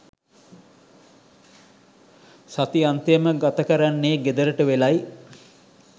සතිඅන්තයම ගතකරන්නේ ගෙදරට වෙලයි.